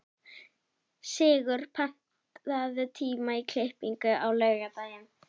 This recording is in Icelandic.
Sigur, pantaðu tíma í klippingu á laugardaginn.